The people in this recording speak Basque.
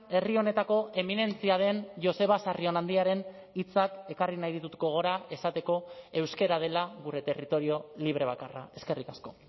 herri honetako eminentzia den joseba sarrionandiaren hitzak ekarri nahi ditut gogora esateko euskara dela gure territorio libre bakarra eskerrik asko